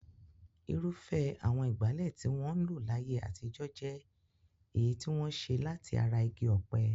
Irúfẹ́ àwọn ìgbálẹ̀ tí wọ́n ń lò láyé àtijọ́ jẹ́ èyí tí wọ́n ṣe láti ara igi ọ̀pẹ.